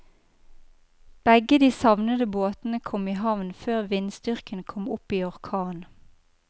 Begge de savnede båtene kom i havn før vindstyrken kom opp i orkan.